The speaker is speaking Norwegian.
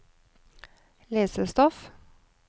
lesestoff